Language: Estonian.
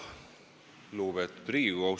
Lugupeetud Riigikogu!